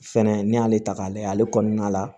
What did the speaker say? Fɛnɛ n'i y'ale ta k'a lajɛ ale kɔnɔna la